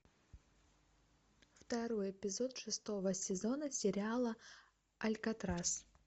второй эпизод шестого сезона сериала алькатрас